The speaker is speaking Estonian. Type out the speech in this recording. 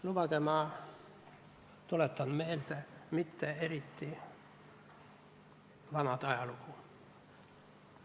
Lubage, ma tuletan teile meelde mitte eriti vana ajalugu.